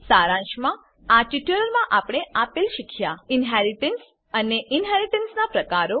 સારાંશમાં આ ટ્યુટોરીયલમાં આપણે આપેલ શીખ્યા ઇન્હેરિટન્સ ઇનહેરીટન્સ અને ઇનહેરીટન્સનાં પ્રકારો